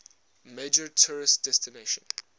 major tourist destination